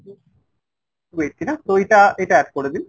two eighty না তো এইটা এইটা add করে দিন।